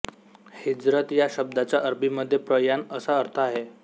हिजरत या शब्दाचा अरबीमध्ये प्रयाण असा अर्थ आहे